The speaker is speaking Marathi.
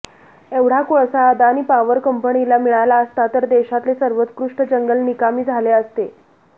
एवढा कोळसा अदानी पॉवर कंपनीला मिळाला असता तर देशातले सर्वोत्कृष्ट जंगल निकामी झाले असते